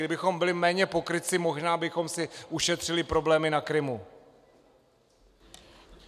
Kdybychom byli méně pokrytci, možná bychom si ušetřili problémy na Krymu.